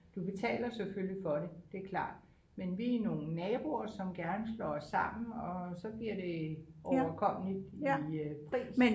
Du betaler selvfølgelig for det det er klart men vi er nogle naboer som gerne slår os sammen og så bliver det overkommeligt i øh pris